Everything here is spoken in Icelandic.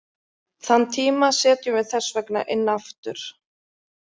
Þann tíma setjum við þess vegna inn aftur.